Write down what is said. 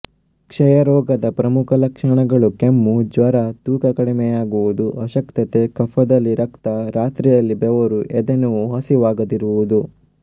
ಕ್ಷಯರೋಗದ ಪ್ರಮುಖ ಲಕ್ಷ್ಮಣಗಳು ಕೆಮ್ಮು ಜ್ವರ ತೂಕ ಕಡಿಮೆಯಾಗುವುದು ಅಶಕ್ತತೆ ಕಫದಲ್ಲಿ ರಕ್ತ ರಾತ್ರಿಯಲ್ಲಿ ಬೆವರು ಎದೆನೋವು ಹಸಿವಾಗದಿರುವುದು